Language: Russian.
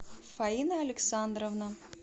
фаина александровна